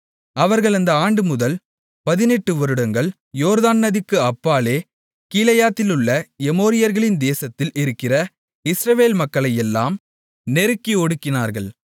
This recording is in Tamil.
அவர்கள் அந்த ஆண்டுமுதல் 18 வருடங்களாக யோர்தான் நதிக்கு அப்பாலே கீலேயாத்திலுள்ள எமோரியர்களின் தேசத்தில் இருக்கிற இஸ்ரவேல் மக்களையெல்லாம் நெருக்கி ஒடுக்கினார்கள்